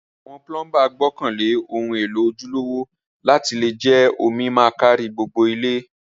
Àwon plumber gbókàn lé oun élò ojúlówó láti le je omi ma kárí gbogbo ilé